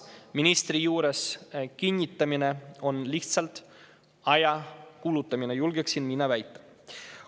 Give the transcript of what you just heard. Ministri juures kinnitamine on lihtsalt aja kulutamine, julgeksin mina väita.